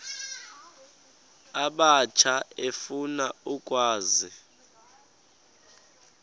abatsha efuna ukwazi